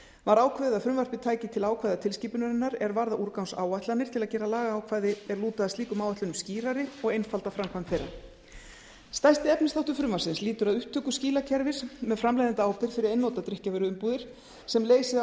var ákveðið að frumvarpið tæki til ákvæða tilskipunarinnar er varða úrgangsáætlanir til að gera lagaákvæði er lúta að slíkum áætlunum skýrari og einfalda framkvæmd þeirra stærsti efnisþáttur frumvarpsins lýtur að upptöku skilakerfis með framleiðendaábyrgð fyrir einnota drykkjarvöruumbúðir sem leysi